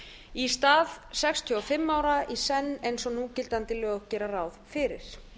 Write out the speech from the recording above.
í stað sextíu og fimm ára í senn eins og núgildandi lög gera ráð fyrir